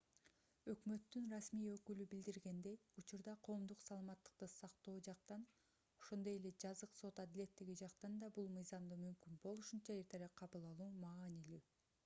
өкмөттүн расмий өкүлү билдиргендей учурда коомдук саламаттыкты сактоо жактан ошондой эле жазык сот адилеттиги жактан да бул мыйзамды мүмкүн болушунча эртерээк кабыл алуу маанилүү